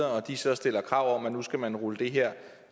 og de så stiller krav om at nu skal man rulle det her